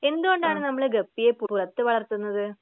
എന്തുകൊണ്ടാണ് നമ്മൾ ഗപ്പിയെ പുറത്തു വളർത്തുന്നത്?